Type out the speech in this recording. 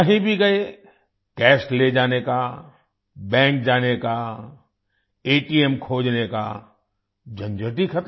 कहीं भी गए कैश ले जाने का बैंक जाने का एटीएम खोजने का झंझट ही ख़त्म